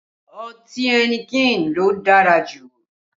Ọtí ẹnikẹni ló dára jù